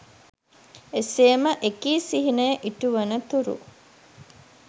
එසේම එකී සිහිනය ඉටු වන තුරු